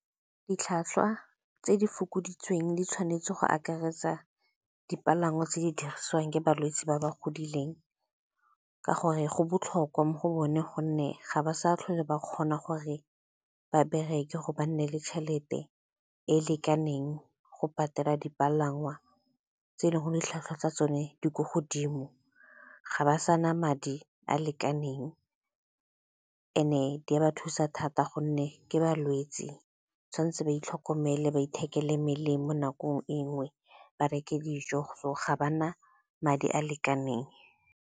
Ditlhwatlhwa tse di fokoditsweng di tshwanetse go akaretsa, dipalangwa tse di dirisiwang ke balwetse ba ba godileng ka gore go botlhokwa mo go bone gonne ga ba sa tlhole ba kgona gore ba bereke gore ba nne le tšhelete e e lekaneng, go patela dipalangwa tse e leng gore ditlhwatlhwa tsa tsone di ko godimo ga ba sa na madi a a lekaneng. And-e di a ba thusa thata gonne ke balwetse tshwanetse ba itlhokomele ba ithekele melemo nakong e nngwe, ba reke dijo, ga ba na madi a a lekaneng.